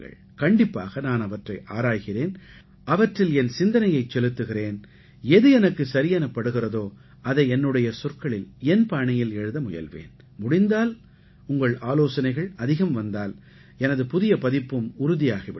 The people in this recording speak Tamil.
கண்டிப்பாக நான் அவற்றை ஆராய்கிறேன் அவற்றில் என் சிந்தனையைச் செலுத்துகிறேன் எது எனக்குச் சரியெனப் படுகிறதோ அதை என்னுடைய சொற்களில் என் பாணியில் எழுத முயல்வேன் முடிந்தால் உங்கள் ஆலோசனைகள் அதிகம் வந்தால் எனது புதிய பதிப்பும் உறுதியாகி விடும்